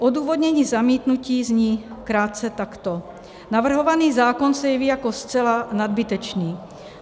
Odůvodnění zamítnutí zní krátce takto: Navrhovaný zákon se jeví jako zcela nadbytečný.